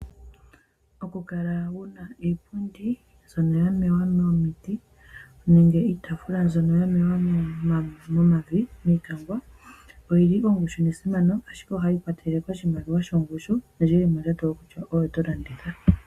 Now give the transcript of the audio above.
Okukala wu na iipundi mbyoka ya hongwa miiti nenge iitaafula mbyoka ya mewa momavi nenge miikangwa oyi li ongushu nesimano, ihe ohayi ikwatelele kondjato yomulandi.